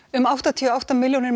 um áttatíu og átta milljónir